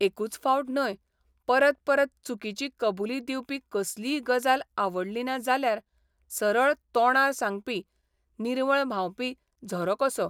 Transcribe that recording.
एकूच फावट न्हय, परत परत चुकिची कबुली दिवपी कसलीय गजाल आवडली ना जाल्यार सरळ तोंडार सांगपी निर्मळ व्हांबपी झरो कसो.